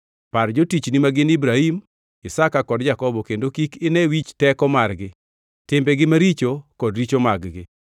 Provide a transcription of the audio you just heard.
Par jotichni ma gin Ibrahim, Isaka kod Jakobo kendo kik ine wich teko margi, timbegi maricho kod richo mag-gi